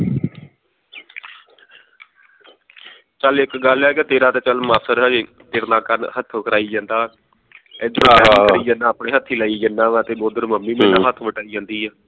ਚੱਲ ਇਕ ਗੱਲ ਹੈ ਕਿ ਤੇਰਾ ਤੇ ਚੱਲ ਮਾਸੜ ਅਜੇ ਤੇਰੇ ਨਾਲ ਹੱਥੋਂ ਕਰਾਈ ਜਾਂਦਾ ਇਧਰ ਤੂੰ ਕਰੀ ਜਾਂਦਾ ਆਪਣੇ ਹੱਥੀ ਲਾਈ ਜਾਂਦਾ ਵਾ ਤੇ ਉਧਰ ਮੰਮੀ ਮੇਰੇ ਨਾਲ ਹੱਥ ਵਟਾਈ ਜਾਂਦੀ